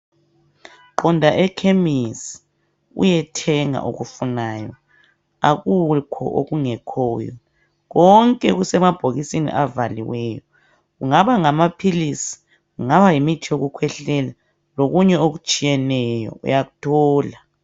Qonda ekhemisi uyethenga okufunayo, akukho okungekhoyo. Konke kusemabhokisini avaliweyo, kungaba ngamaphilisi kungaba yimithi yokukhwehlela lokunye okutshiyeneyo uyakuthola.